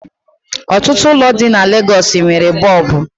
Otutu ụlọ di na Lagosi nwere Boobu